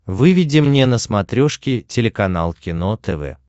выведи мне на смотрешке телеканал кино тв